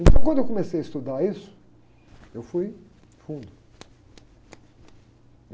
Então, quando eu comecei a estudar isso, eu fui fundo.